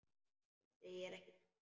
Þú segir ekki neitt.